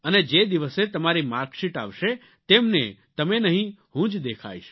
અને જે દિવસે તમારી માર્કશીટ આવશે તેમને તમે નહીં હું જ દેખાઇશ